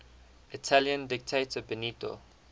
italian dictator benito